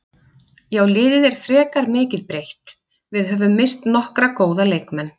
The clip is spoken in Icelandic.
Já liðið er frekar mikið breytt, við höfum misst nokkra góða leikmenn.